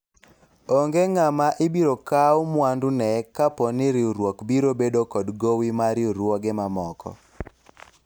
onge ng'ama ibiro kawu mwandu ne kapo ni riwruok biro bedo kod gowi mar riwruoge mamoko